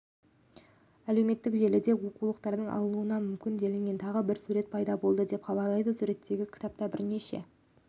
әлеуметтік желілерде оқулықтан алынуы мүмкін делінген тағы бір сурет пайда болды деп хабарлайды суреттегі кітапта бірнеше